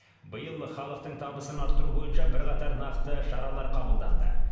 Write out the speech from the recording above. биыл халықтың табысын арттыру бойынша бірқатар нақты шаралар қабылданды